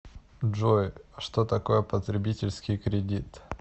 джой а что такое потребительский кредит